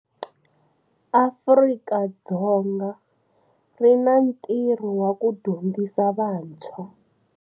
Afrika-Dzonga ri na ntirho wa ku dyondzisa vantshwa.